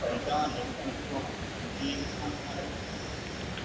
അതാ എന്തെങ്കിലും പണിക്ക് പോണം നാട്ടി നടക്കാൻ കയ്യില്ലാ